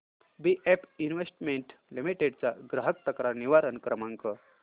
BF investment limited चा ग्राहक तक्रार निवारण क्रमांक